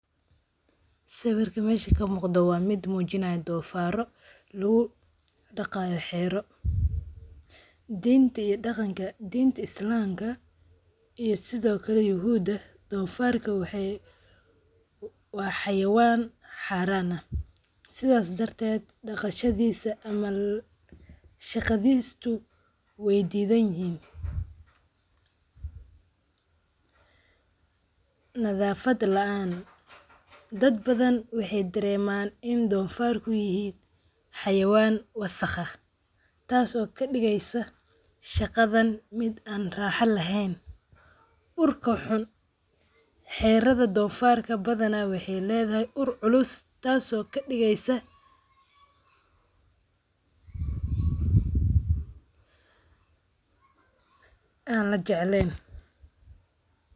Sawirkan meesha ka muuqda waa mid muujinayo doofaarro lagu dhaqayo xero. Diinta iyo dhaqanka, diinta Islaamka iyo sidoo kale Yahuudda, doofarku waa xayawaan xaraan ah. Sidaas darteed, dhaqashadisu ama shaqadiisu way diiddan yihiin. Nadaafad la'aan dad badan waxay dareemaan in doofarku yahay xayawaan wasakh ah, taas oo ka dhigeysa shaqadan mid aan raaxo lahayn. Urka xun, xerada doofarka waxay leedahay badanaa ur xun taas oo ka dhigeysa mid aan la jeclayn